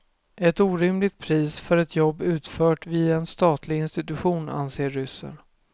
Ett orimligt pris för ett jobb utfört vid en statlig institution, anser ryssen.